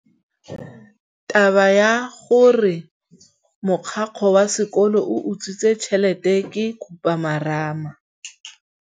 Taba ya gore mogokgo wa sekolo o utswitse tšhelete ke khupamarama.